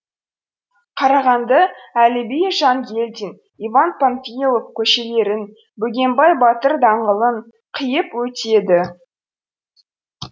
қарағанды әліби жангелдин иван панфилов көшелерін бөгенбай батыр даңғылын қиып өтеді